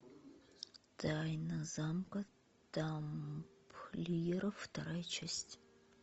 тайна замка тамплиеров вторая часть